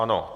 Ano.